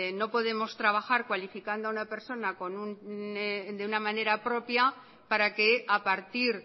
no podemos trabajar cualificando a una persona de una manera propia para que a partir